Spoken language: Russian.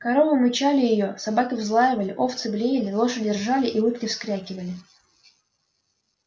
коровы мычали её собаки взлаивали овцы блеяли лошади ржали и утки вскрякивали